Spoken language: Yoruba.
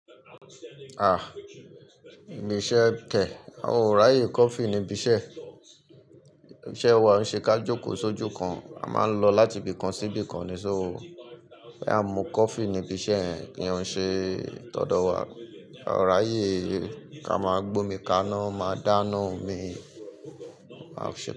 Ah! Ibi iṣẹ́ kẹ̀, àwa ọ̀ráyè coffee níbi iṣẹ́. Iṣẹ́ wa ò ṣe ká jókòó sójú kan, a máa ń lọ láti ibì kan sí ibì kan ni sóòó. Bí a mú coffee níbi iṣẹ́ ẹ ní ó ń ṣe tọ̀ọ̀dọ̀ wa. Àráyè ká máa gbómi kaná, máa dáná omi. Àṣẹ.